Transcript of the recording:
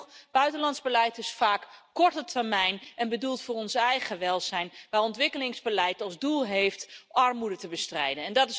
Sterker nog, buitenlands beleid is vaak korte termijn en bedoeld voor ons eigen welzijn, waar ontwikkelingsbeleid als doel heeft armoede te bestrijden.